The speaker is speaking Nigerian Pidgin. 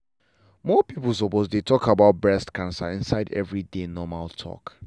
more people suppose dey talk about breast cancer inside everyday normal talk.